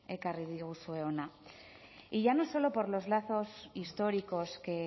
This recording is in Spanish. ekarri diguzue hona y ya no solo por los lazos históricos que